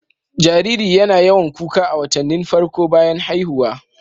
Jariri YAna yawan kuka a watannin farko bayan haihuwa